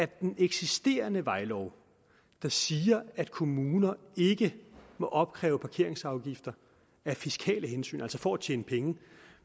den eksisterende vejlov der siger at kommuner ikke må opkræve parkeringsafgifter af fiskale hensyn altså for at tjene penge